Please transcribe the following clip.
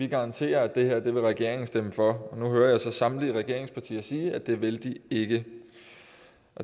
garanterede at regeringen ville stemme for nu hører jeg så samtlige regeringspartier sige at det vil de ikke